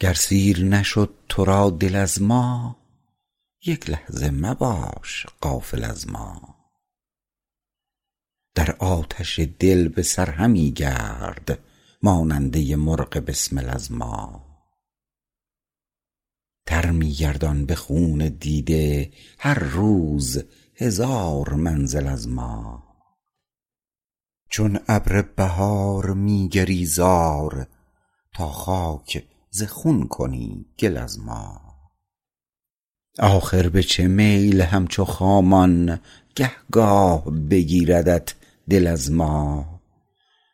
گر سیر نشد تو را دل از ما یک لحظه مباش غافل از ما در آتش دل بسر همی گرد ماننده مرغ بسمل از ما تر می گردان به خون دیده هر روز هزار منزل از ما چون ابر بهار می گری زار تا خاک ز خون کنی گل از ما آخر به چه میل همچو خامان گه گاه بگیردت دل از ما